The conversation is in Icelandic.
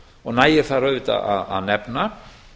og nægir þar auðvitað að nefna